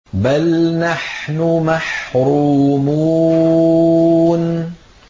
بَلْ نَحْنُ مَحْرُومُونَ